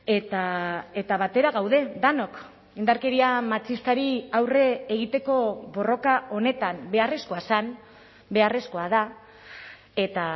eta batera gaude denok indarkeria matxistari aurre egiteko borroka honetan beharrezkoa zen beharrezkoa da eta